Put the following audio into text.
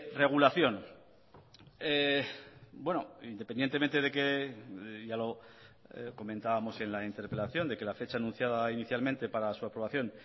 regulación independientemente de que ya lo comentábamos en la interpelación de que la fecha anunciada inicialmente para su aprobación